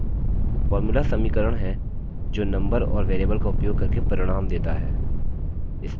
formulas समीकरण हैं जो नम्बर और variables का उपयोग करके परिणाम देता है